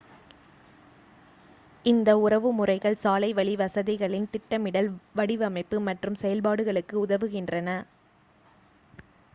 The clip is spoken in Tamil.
இந்த உறவுமுறைகள் சாலைவழி வசதிகளின் திட்டமிடல் வடிவமைப்பு மற்றும் செயல்பாடுகளுக்கு உதவுகின்றன